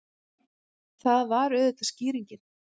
Það var auðvitað skýringin!